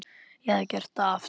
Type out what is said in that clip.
Ég hefði gert þetta aftur.